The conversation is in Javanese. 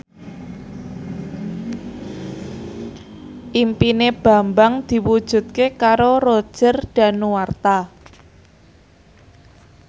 impine Bambang diwujudke karo Roger Danuarta